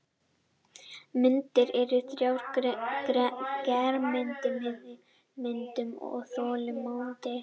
Myndir eru þrjár: germynd, miðmynd og þolmynd.